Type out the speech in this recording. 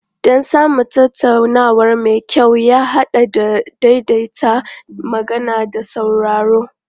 Don samun tattaunawa mai kyau ya haɗa da daidaita magana da sauraro.